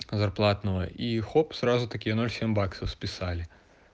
зарплатного и хоп сразу такие ноль семь баксов списали